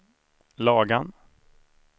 Lagan